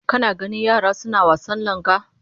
Kana ganin yara suna wasan langa?